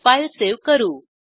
file save करू